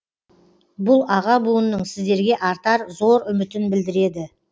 бұл аға буынның сіздерге артар зор үмітін білдіреді